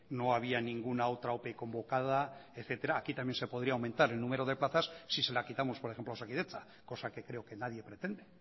no había ninguna otra ope convocada etcétera aquí también se podría aumentar el número de plazas si se la quitamos por ejemplo a osakidetza cosa que creo que nadie pretende